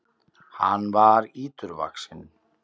Hann var íturvaxinn.